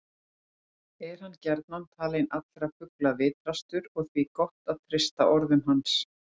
Er hann gjarnan talinn allra fugla vitrastur og því gott að treysta orðum hans.